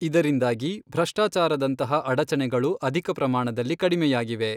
ಇದರಿಂದಾಗಿ ಭ್ರಷ್ಟಚಾರದಂತಹ ಅಡಚಣೆಗಳು ಅಧಿಕ ಪ್ರಮಾಣದಲ್ಲಿ ಕಡಿಮೆಯಾಗಿವೆ.